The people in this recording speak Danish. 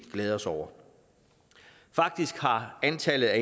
glæde os over faktisk har antallet af